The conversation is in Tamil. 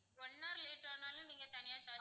one hour late ஆனாலும் நீங்க தனியா charge